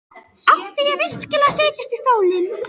Átti ég virkilega að setjast í stólinn?